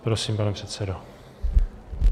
Prosím, pane předsedo.